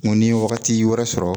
N ko ni ye wagati wɛrɛ sɔrɔ